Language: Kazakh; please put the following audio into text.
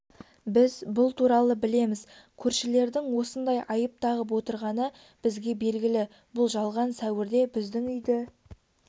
біз бұл туралы білеміз көршілердің осындай айып тағып отырғаны бізге белгілі бұл жалған сәуірде біздің үйді